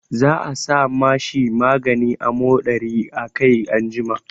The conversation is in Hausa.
Za a sa ma shi maganin amodari a kai anjima.